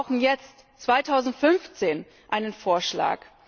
Wir brauchen jetzt 2015 einen Vorschlag.